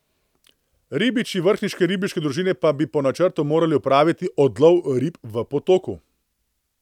Ribiči vrhniške ribiške družine pa bi po načrtu morali opraviti odlov rib v potoku.